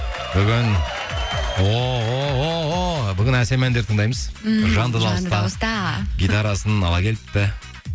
бүгін ооо бүгін әсем әндер тыңдаймыз мхм жанды дауыста гитарасын ала келіпті